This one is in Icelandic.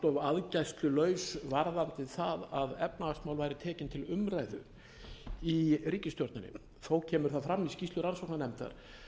aðgæslulaus varðandi það að efnahagsmál væru tekin til umræðu í ríkisstjórninni þó kemur það fram í skýrslu rannsóknarnefndar